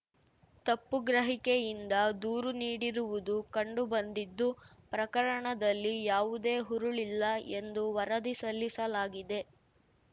ತಪ್ಪು ಗ್ರಹಿಕೆಯಿಂದ ದೂರು ನೀಡಿರುವುದು ಕಂಡು ಬಂದಿದ್ದು ಪ್ರಕರಣದಲ್ಲಿ ಯಾವುದೇ ಹುರುಳಿಲ್ಲ ಎಂದು ವರದಿ ಸಲ್ಲಿಸಲಾಗಿದೆ